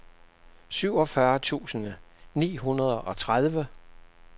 syvogfyrre tusind ni hundrede og tredive